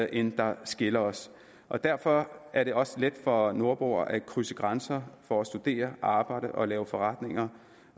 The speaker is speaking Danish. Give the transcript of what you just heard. end der skiller os og derfor er det også let for nordboere at krydse grænser for at studere arbejde og lave forretninger